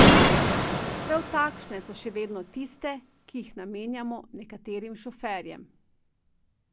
Prav takšne pa so še vedno tiste, ki jih namenjamo nekaterim šoferjem.